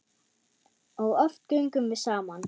Og oft göngum við saman.